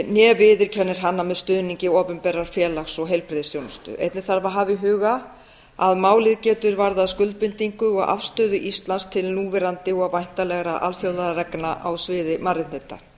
né viðurkennir hana með stuðningi opinberrar félags og heilbrigðisþjónustu einnig þarf að hafa í huga að málið getur varðað skuldbindingu og afstöðu íslands til núverandi og væntanlegra alþjóðareglna á sviði mannréttinda